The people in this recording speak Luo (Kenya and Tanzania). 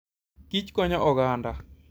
kich konyo oganda.